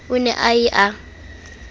o ne a ye a